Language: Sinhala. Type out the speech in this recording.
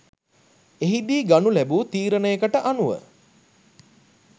එහිදී ගනු ලැබූ තීරණයකට අනුව